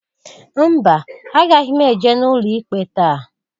Mba! Agaghị m eje n'ụlọ ikpe taa.